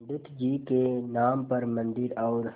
पंडित जी के नाम पर मन्दिर और